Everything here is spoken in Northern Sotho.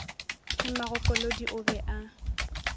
le magokolodi o be a